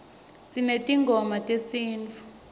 sinetingoma tesinifu